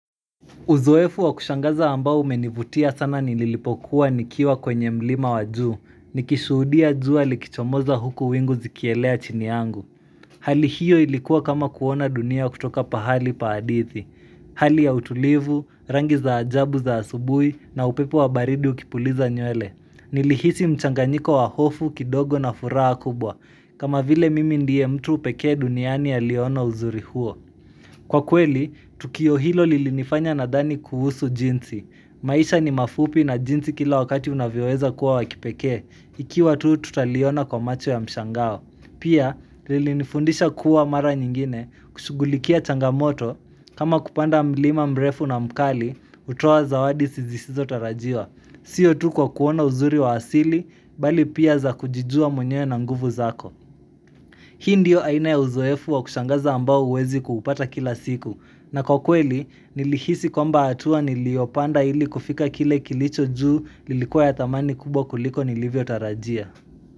Uzoefu wa kushangaza ambao umenivutia sana nililipokuwa nikiwa kwenye mlima wa juu, nikishuhudia jua likichomoza huku wingu zikielea chini yangu. Hali hiyo ilikuwa kama kuona dunia kutoka pahali pa hadithi. Hali ya utulivu, rangi za ajabu za asubuhi na upepo wa baridi ukipuliza nywele. Nilihisi mchanganyiko wa hofu kidogo na furaha kubwa, kama vile mimi ndiye mtu pekee duniani aliyeona uzuri huo. Kwa kweli, tukio hilo lilinifanya nadhani kuhusu jinsi. Maisha ni mafupi na jinsi kila wakati unavyoweza kuwa wa kipekee, ikiwa tu tutaliona kwa macho ya mshangao. Pia, lilinifundisha kuwa mara nyingine kushugulikia changamoto, kama kupanda mlima mrefu na mkali, utoa zawadi sizisizotarajiwa. Sio tu kwa kuona uzuri wa asili, bali pia za kujijua mwenyewe na nguvu zako. Hii ndio aina ya uzoefu wa kushangaza ambao huwezi kuupata kila siku na kwa kweli nilihisi kwamba atua niliyopanda ili kufika kile kilicho juu lilikuwa ya thamani kubwa kuliko nilivyotarajia.